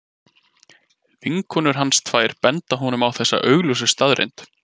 Vinkonur hans tvær benda honum á þessa augljósu staðreynd.